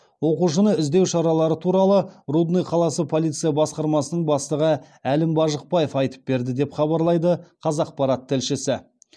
оқушыны іздеу шаралары туралы рудный қаласы полиция басқармасының бастығы әлім бажықбаев айтып берді деп хабарлайды қазақпарат тілшісі